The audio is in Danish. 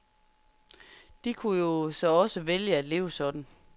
De kunne jo så også vælge at leve sådan.